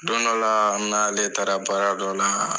Don dɔ la n n'ale taara baara dɔ la